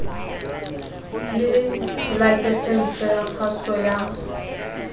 le lakesense ya kgaso ya